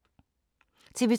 TV 2